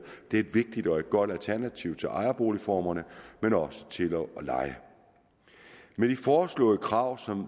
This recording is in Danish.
det er et vigtigt og et godt alternativ til ejerboligformerne men også til at leje med de foreslåede krav som